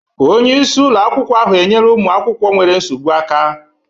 Onye isi ụlọ akwụkwọ ahụ enyere ụmụ akwụkwọ nwere nsogbu aka.